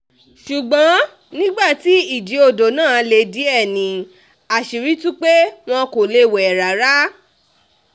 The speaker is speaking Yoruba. ṣùgbọ́n nígbà tí ìjì odò náà le díẹ̀ ni àṣírí tú pé wọn kò lè wẹ̀ rárá